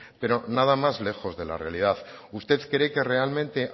pero nada más lejos de la realidad usted cree que realmente